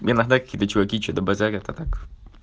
иногда какие-то чуваки что-то базарят а так